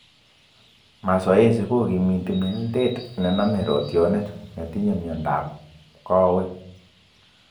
Mazoezi kokimiti melteet ne name rootyonet netinye miando ap kawek.